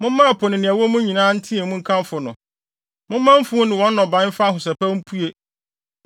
Momma ɛpo ne nea ɛwɔ mu nyinaa nteɛ mu nkamfo no. Momma mfuw ne wɔn nnɔbae mfa ahosɛpɛw mpue.